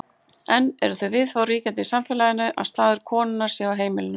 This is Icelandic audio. Enn eru þau viðhorf ríkjandi í samfélaginu að staður konunnar sé á heimilinu.